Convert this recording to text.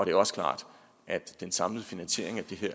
er også klart at den samlede finansiering af det her